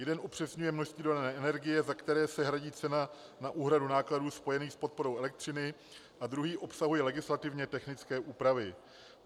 Jeden upřesňuje množství dodané energie, za které se hradí cena na úhradu nákladů spojených s podporou elektřiny, a druhý obsahuje legislativně technické úpravy.